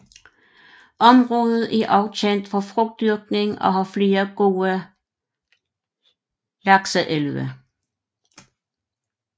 Området er også kendt for frugtdyrkning og har flere gode lakseelve